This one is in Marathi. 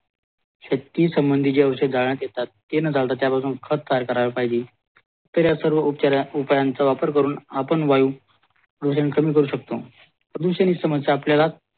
शेती संबंधी जे औषधे घालण्यात येतात ते न घातला त्या पासून खत तयार करायला पाहिजे तर या सर्व उपायचा वापर करून आपण वायू प्रदूषण कमी करू शकतो प्रदूषणी समस्या आपल्याला